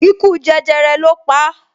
Ikú jẹjẹrẹ lo pa